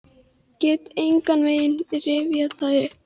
Get engan veginn rifjað það upp.